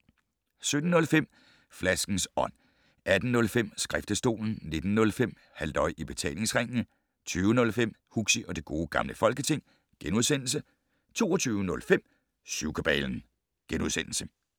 17:05: Flaskens Ånd 18:05: Skriftestolen 19:05: Halløj i Betalingsringen 20:05: Huxi og det Gode Gamle Folketing * 22:05: Syvkabalen *